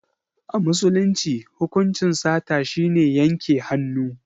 A musulunci hukuncin sata shine yanke hannu.